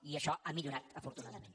i això ha millorat afortunadament